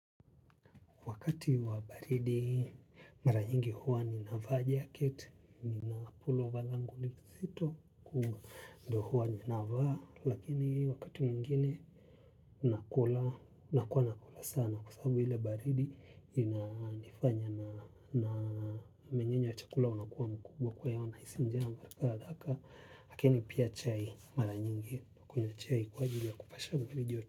Wakati wa baridi, mara nyingi huwa ninavaa jacket, nina pullover langu lizito, kuu, ndo huwa ninavaa. Lakini wakati mwingine, nakula, nakua nakula sana kwa sababu ile baridi, inanifanya na mmenyenyo wa chakula unakuwa mkubwa kwa hiyo nahisi njaa. Haraka. Lakini pia chai mara nyingi, kunywa chai kwa ajili ya kupasha mwili joto.